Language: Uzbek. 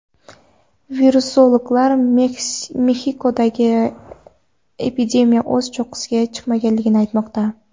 Virusologlar Mexikoda epidemiya o‘z cho‘qqisiga chiqmaganligini aytmoqda.